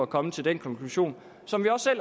kommet til den konklusion som vi også